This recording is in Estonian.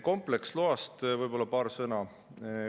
Kompleksloa kohta paar sõna.